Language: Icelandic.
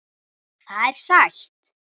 Það er sætt.